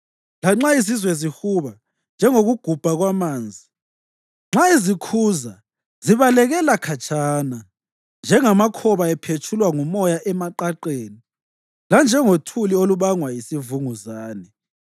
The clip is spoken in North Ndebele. Lanxa izizwe zihuba njengokugubhuza kwamanzi, nxa ezikhuza zibalekela khatshana, njengamakhoba ephetshulwa ngumoya emaqaqeni, lanjengothuli olubangwa yisivunguzane.